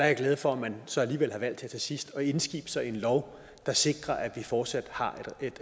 jeg glad for at man så alligevel har valgt her til sidst at indskibe sig i en lov der sikrer at vi fortsat har